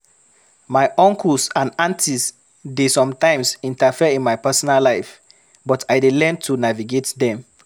My uncles and aunties dey sometimes interfere in my personal life, but I dey learn to navigate dem.